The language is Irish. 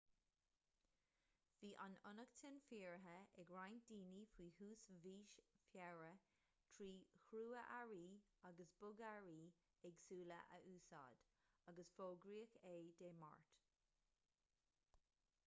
bhí an fhionnachtain fíoraithe ag roinnt daoine faoi thús mhí feabhra trí chrua-earraí agus bogearraí éagsúla a úsáid agus fógraíodh é dé máirt